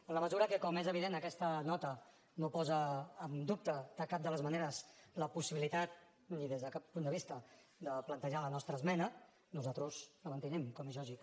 en la mesura que com és evident aquesta nota no posa en dubte de cap de les maneres la possibilitat ni des de cap punt de vista de plantejar la nostra esmena nosaltres la mantenim com és lògic